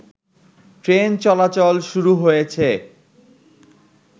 train চলাচল শুরু হয়েছে